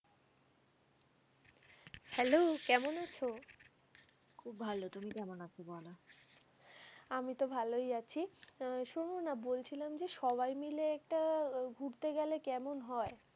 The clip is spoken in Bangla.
Hello কেমন আছো? খুব ভালো, তুমি কেমন আছো বলো। আমি তো ভালোই আছি। আ শোনো না বলছিলাম যে, সবাই মিলে একটা ঘুরতে গেলে কেমন হয়?